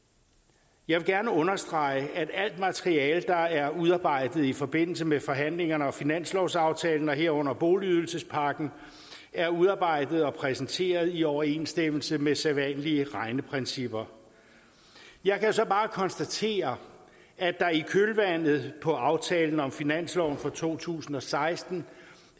jeg vil gerne understrege at alt materiale der er udarbejdet i forbindelse med forhandlingerne og finanslovsaftalen herunder boligydelsespakken er udarbejdet og præsenteret i overensstemmelse med sædvanlige regneprincipper jeg kan så bare konstatere at der i kølvandet på aftalen om finansloven for to tusind og seksten